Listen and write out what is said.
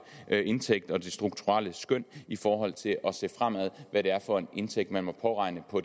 indtægt og det strukturelle skøn i forhold til at se fremad hvad det er for en indtægt man må påregne på